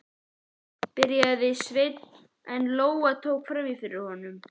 byrjaði Sveinn en Lóa tók fram í fyrir honum